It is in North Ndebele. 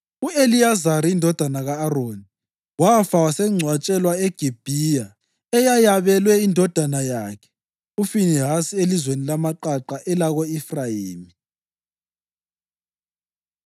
U-Eliyazari indodana ka-Aroni wafa wasengcwatshelwa eGibhiya, eyayabelwe indodana yakhe uFinehasi elizweni lamaqaqa elako-Efrayimi.